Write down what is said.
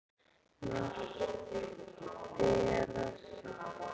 Margt ber að þakka.